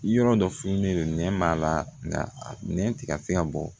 Yɔrɔ dɔ finen don nɛn b'a la nka nɛn tɛ ka se ka bɔ